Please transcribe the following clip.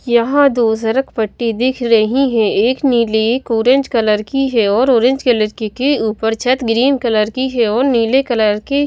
यहां दूसरक पट्टी दिख रही है एक नीली एक ऑरेंज कलर की है और ऑरेंज कलर की के ऊपर छत ग्रीन कलर की है और नीले कलर के --